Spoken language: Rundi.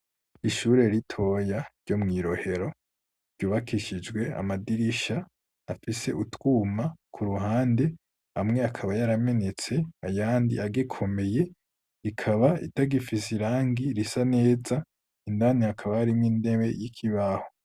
Ishure ritoya ryo mw'i rohero ryubakishijwe amadirisha afise utwuma ku ruhande amwe akaba yaramenetse ayandi agikomeye rikaba itagifise irangi risa neza indani akaba ari mwo indebe y'ikibaho.